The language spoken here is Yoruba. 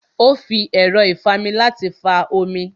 Ó fi ẹ̀rọ́ ìfami láti fa omi